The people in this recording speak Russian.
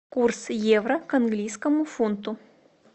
курс евро к английскому фунту